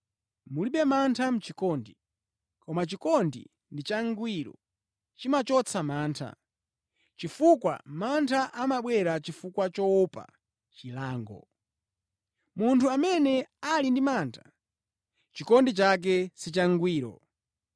Mulibe mantha mʼchikondi. Koma chikondi ndi changwiro chimachotsa mantha, chifukwa mantha amabwera chifukwa choopa chilango. Munthu amene ali ndi mantha, chikondi chake sichangwiro.